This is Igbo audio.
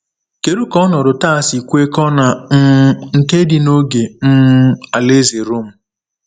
Kedu ka ọnọdụ taa si kwekọọ na um nke dị n’oge um alaeze Rom?